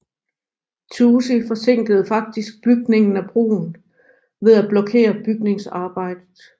Toosey forsinkede faktisk bygningen af broen ved at blokere bygningsarbejdet